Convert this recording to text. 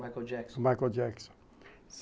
Michael Jackson.